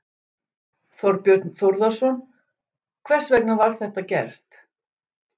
Þorbjörn Þórðarson: Hvers vegna var þetta gert?